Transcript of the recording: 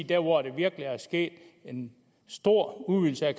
der hvor der virkelig er sket en stor udvidelse af